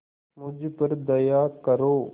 मुझ पर दया करो